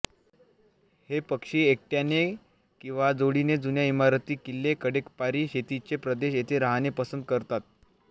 हे पक्षी एकट्याने किंवा जोडीने जुन्या इमारती किल्ले कडेकपारी शेतीचे प्रदेश येथे राहणे पसंत करतात